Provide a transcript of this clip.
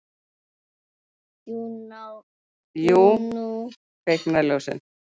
Jú, nú kviknar ljós.